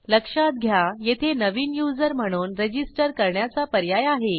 लक्षात घ्या येथे नवीन युजर म्हणून रजिस्टर करण्याचा पर्याय आहे